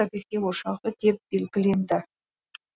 табиғи ошағы деп белгіленді